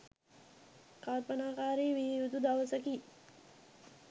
කල්පනාකාරී විය යුතු දවසකි.